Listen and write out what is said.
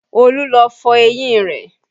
Olú lọ fọ eyín rẹ̀